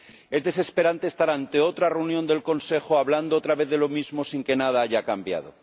Es desesperante estar ante otra reunión del Consejo hablando otra vez de lo mismo, sin que nada haya cambiado.